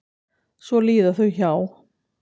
Svo líða þau hjá.